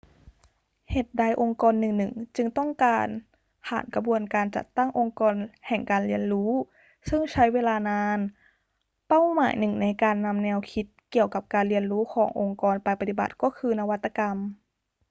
เหตุใดองค์กรหนึ่ง ๆ จึงต้องการผ่านกระบวนการจัดตั้งองค์กรแห่งการเรียนรู้ซึ่งใช้เวลานาน เป้าหมายหนึ่งในการนำแนวคิดเกี่ยวกับการเรียนรู้ขององค์กรไปปฏิบัติก็คือนวัตกรรม